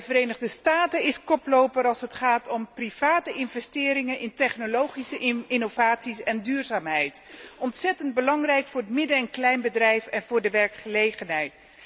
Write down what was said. De Verenigde Staten zijn echter koploper als het gaat om particuliere investeringen in technologische innovaties en duurzaamheid, wat ontzettend belangrijk is voor het midden en kleinbedrijf en voor de werkgelegenheid.